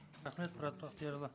рахмет мұрат бақтиярұлы